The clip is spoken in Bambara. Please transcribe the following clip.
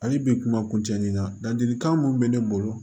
Hali bi kuma kuncɛ nin na ladilikan mun bɛ ne bolo